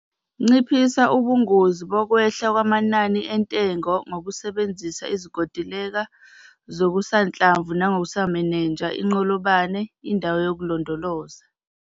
Nciphisa ubungozi bokwehla kwamanani entengo ngokusebenzisa izinkontileka zokusanhlamvu nangokumenenja inqolobane, indawo yokulondoloza.